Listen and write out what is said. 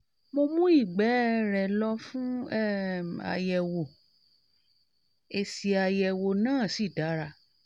mo mú ìgbé um rẹ̀ lọ fún um àyẹ̀wò èsì um àyẹ̀wò náà sì dára